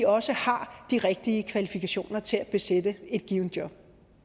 også har de rigtige kvalifikationer til at besætte et givent job